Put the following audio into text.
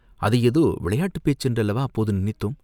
அது ஏதோ விளையாட்டுப் பேச்சு என்றல்லவா அப்போது நினைத்தோம்?